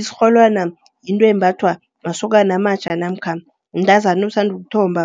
Isirholwana yinto embhathwa masokana amatjha namkha mntazana osanda ukuthomba.